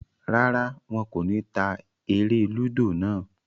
Rárá, wọn kò ní ta eré-lúdò náà.